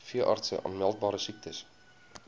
veeartse aanmeldbare siektes